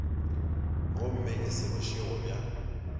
gomme e se bošego bja